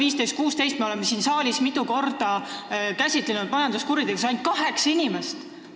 Aastatel 2015–2016 tegeles majanduskuritegudega ainult kaheksa inimest.